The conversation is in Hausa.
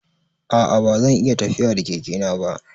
A'a ba zan iya tafiya da Keke na ba.